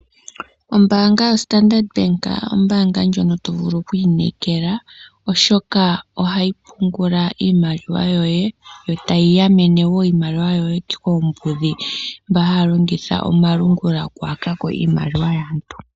Ombaanga yo Standard Bank ombaanga ndjono to vulu oku inekela oshoka ohayi pungula iimaliwa yoye, yo tayi ganene wo iimaliwa yoye koombudhi. Mboka haya longitha omalungula okuyakako iimaliwa yaantu.